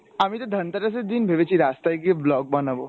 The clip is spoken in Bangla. আমিতো ধনতেরাস এর দিন ভেবেছি রাস্তায় গিয়ে blog বানাবো।